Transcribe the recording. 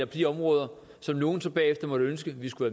de områder som nogle så bagefter måtte ønske vi skulle